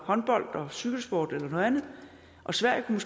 håndbold og cykelsport eller noget andet og sverige kunne